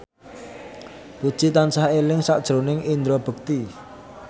Puji tansah eling sakjroning Indra Bekti